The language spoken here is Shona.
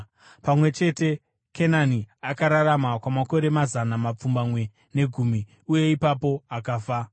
Pamwe chete, Kenani akararama kwamakore mazana mapfumbamwe negumi, uye ipapo akafa.